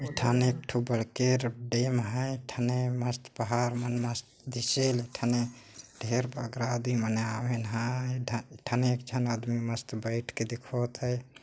एक ठन एक ठो बड़के डैम हैं एक ठने मस्त पहाड़ हन मस्त दिखेल एक ठने ढेर मन आदमी आवे न हाए एक ठन आदमी मस्ट बैठ के देखवात है।